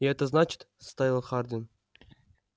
и это значит вставил хардин